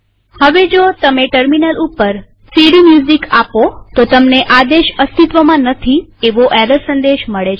હવે જો તમે ટર્મિનલ ઉપર સીડીમ્યુઝિક આપો તો તમને આદેશ અસ્તિત્વમાં નથી એવો એરર સંદેશ મળે છે